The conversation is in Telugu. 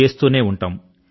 చేస్తూనే ఉంటాం